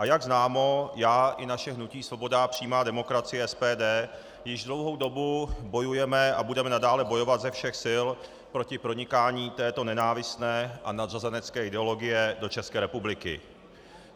A jak známo, já i naše hnutí Svoboda a přímá demokracie SPD již dlouhou dobu bojujeme a budeme nadále bojovat ze všech sil proti pronikání této nenávistné a nadřazenecké ideologie do České republiky.